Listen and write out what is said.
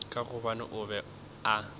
ka gobane o be a